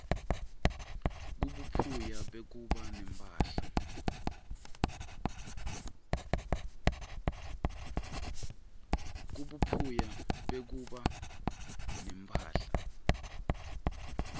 kubuphuya bekuba nemphahla